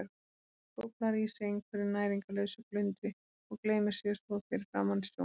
Skóflar í sig einhverju næringarlausu glundri og gleymir sér svo fyrir framan sjónvarpið.